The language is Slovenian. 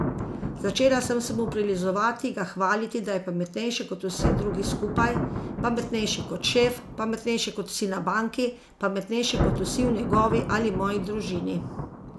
Začela sem se mu prilizovati, ga hvaliti, da je pametnejši kot vsi drugi skupaj, pametnejši kot šef, pametnejši kot vsi na banki, pametnejši kot vsi v njegovi ali moji družini.